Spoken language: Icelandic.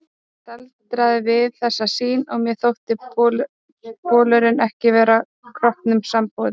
Ég staldraði við þessa sýn og mér þótti bolurinn ekki vera kroppnum samboðinn.